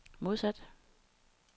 modsat